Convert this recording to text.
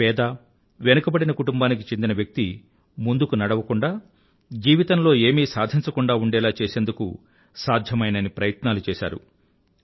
ఒక పేద వెనుకబడిన కుటుంబానికి చెందిన వ్యక్తి ముందుకు నడవకుండా జీవితంలో ఏమీ సాధించలేకుండా ఉండేలా చేసేందుకు సాధ్యమయినన్ని ప్రయత్నాలు చేసారు